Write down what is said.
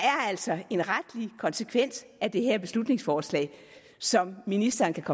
altså en retlig konsekvens af det her beslutningsforslag som ministeren kan